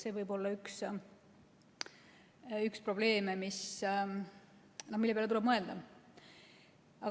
See võib olla üks probleeme, mille peale tuleb mõelda.